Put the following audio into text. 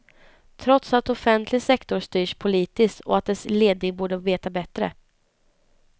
Trots att offentlig sektor styrs politiskt och att dess ledning borde veta bättre.